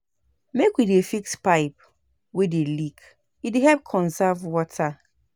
Make we dey fix pipe wey dey leak, e dey help conserve water.